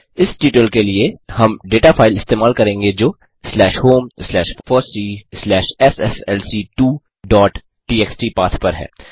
इस ट्यूटोरियल के लिए हम डेटा फाइल इस्तेमाल करेंगे जो slash home slash FOSSEE slash SSLC two dot TXT path पर है